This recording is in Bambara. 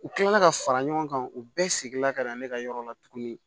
U kilala ka fara ɲɔgɔn kan u bɛɛ seginna ka na ne ka yɔrɔ la tuguni